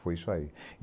Foi isso aí.